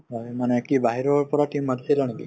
মানে মানে কি বাহিৰৰ পৰা team মাতিছিলা নেকি ?